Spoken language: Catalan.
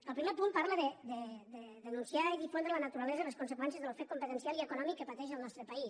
el primer punt parla de denunciar i difondre la naturalesa i les conseqüències de l’ofec competencial i econòmic que pateix el nostre país